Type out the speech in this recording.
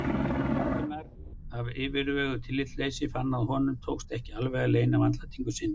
Valdimar af yfirveguðu tillitsleysi og fann að honum tókst ekki alveg að leyna vandlætingu sinni.